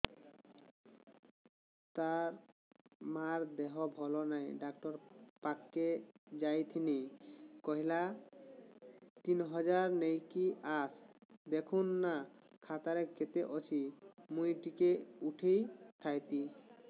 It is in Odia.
ତାର ମାର ଦେହେ ଭଲ ନାଇଁ ଡାକ୍ତର ପଖକେ ଯାଈଥିନି କହିଲା ତିନ ହଜାର ନେଇକି ଆସ ଦେଖୁନ ନା ଖାତାରେ କେତେ ଅଛି ମୁଇଁ ଟିକେ ଉଠେଇ ଥାଇତି